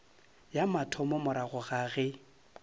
ya mathomo morago ga ge